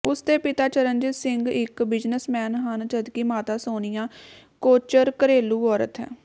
ਉਸ ਦੇ ਪਿਤਾ ਚਰਨਜੀਤ ਸਿੰਘ ਇੱਕ ਬਿਜਨਸਮੈਨ ਹਨ ਜਦਕਿ ਮਾਤਾ ਸੋਨੀਆ ਕੋਚਰ ਘਰੇਲੂ ਔਰਤ ਹੈ